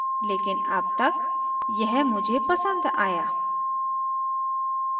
लेकिन अब तक यह मुझे पसंद आया